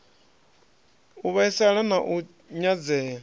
u vhaisala na u nyadzea